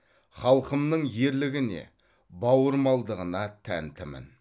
халқымның ерлігіне бауырмалдығына тәнтімін